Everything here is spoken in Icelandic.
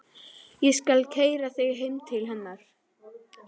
Ég skal keyra þig heim til hennar.